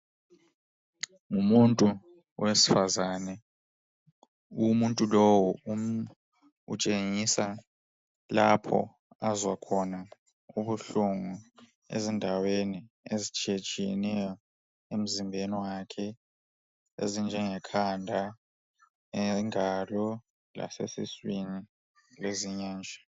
Ngumuntu wesifazana umuntu lo utshengisa lapho azwa khona ubuhlungu ezindaweni ezitshiyetshiyeneyo emzimbeni wakhe ezinje khanda ingalo lasesiswini lezinye nje.